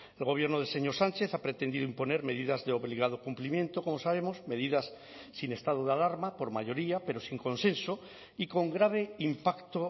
el gobierno del señor sánchez ha pretendido imponer medidas de obligado cumplimiento como sabemos medidas sin estado de alarma por mayoría pero sin consenso y con grave impacto